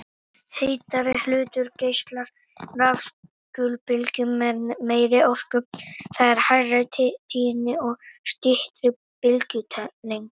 Heitari hlutur geislar rafsegulbylgjum með meiri orku, það er hærri tíðni og styttri bylgjulengd.